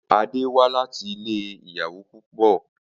Ade wá láti ilé ìyàwó púpọ̀.